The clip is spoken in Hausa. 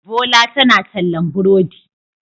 Bola tana tallan burodi.